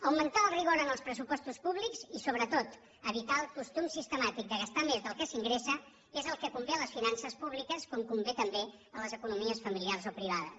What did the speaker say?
augmentar el rigor en els pressupostos públics i sobretot evitar el costum sistemàtic de gastar més del que s’ingressa és el que convé a les finances públiques com convé també a les economies familiars o privades